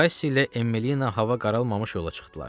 Kaşşi ilə Emmelina hava qaralmamış yola çıxdılar.